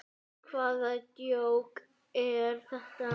Hvaða djók er þetta?